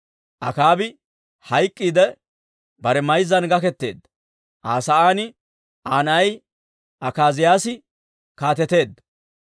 Akaabi hayk'k'iidde bare mayzzan gaketeedda; Aa sa'aan Aa na'ay Akaaziyaasi kaateteedda.